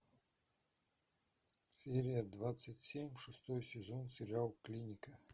серия двадцать семь шестой сезон сериал клиника